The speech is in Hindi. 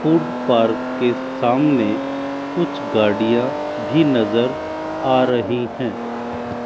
फूड पार्क के सामने कुछ गाड़ियां भी नजर आ रही है।